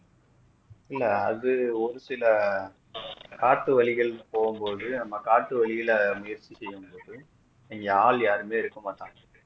இல்ல அது ஒரு சில காட்டு வழிகள்ல போகும் போது நம்ம காட்டு வழில முயற்சி செய்யும் போது இங்க ஆள் யாருமே இருக்கமாட்டாங்க